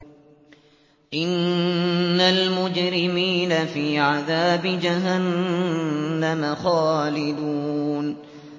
إِنَّ الْمُجْرِمِينَ فِي عَذَابِ جَهَنَّمَ خَالِدُونَ